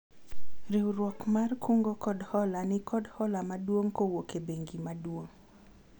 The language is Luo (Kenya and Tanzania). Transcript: riwruogwa mar kungo kod hola nikod hola maduong' kowuok e bengi maduong'